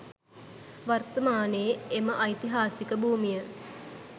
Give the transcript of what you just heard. වර්තමානයේ එම ඓතිහාසික භූමිය